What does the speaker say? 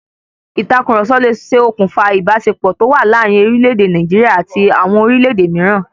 Ìtàkurọ̀sọ ló ṣe òkùnfà ìbáṣepọ̀ tó wà láàrin orílẹ̀ èdè Nàìjíríà àti àwọn orílẹ̀-èdè míràn.